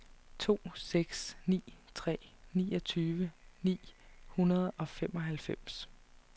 to seks ni tre niogtyve ni hundrede og femoghalvfems